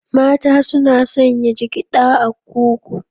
Mata suna sanya jigiɗa a kugu.